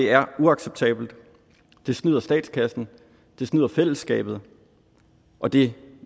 er uacceptabelt det snyder statskassen det snyder fællesskabet og det